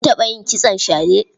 Kin taɓa yin kitson shade?